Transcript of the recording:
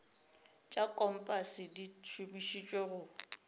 tša kompase di šomišetšwa go